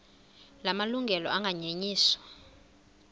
la malungelo anganyenyiswa